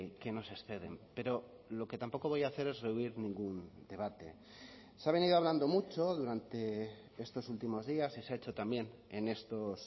que nos exceden pero lo que tampoco voy a hacer es rehuir ningún debate se ha venido hablando mucho durante estos últimos días y se ha hecho también en estos